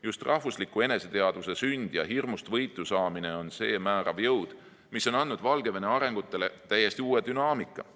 Just rahvusliku eneseteadvuse sünd ja hirmust võitu saamine on see määrav jõud, mis on andnud Valgevene arengule täiesti uue dünaamika.